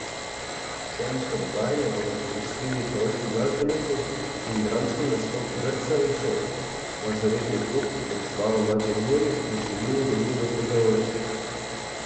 Sejemsko dogajanje bodo popestrili pevski, glasbeni in dramski nastop vrtcev in šol, mažoretni klub, predstava Maček Muri in številni drugi nastopajoči.